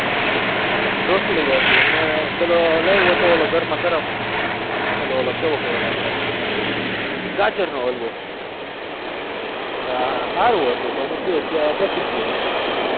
રોટલી હતી અને પેલો લઇ આયવો હતો ઓલો ગરમા ગરમ બોલો ઓલો કેવું કેવાય આપડે ગાજરનો હળવો હમ હારું હતું હું ગયો ત્યારે પટી ગયું હતું ટૂંકમાં